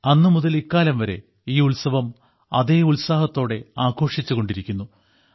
അന്നുമുതൽ ഇക്കാലം വരെ ഈ ഉത്സവം അതേ ഉത്സാഹത്തോടെ ആഘോഷിച്ചുകൊണ്ടിരിക്കുന്നു